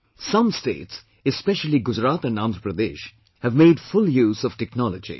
Some states, especially Gujarat and Andhra Pradesh have made full use of technology